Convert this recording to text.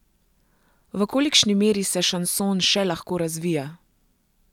V kolikšni meri se šanson še lahko razvija?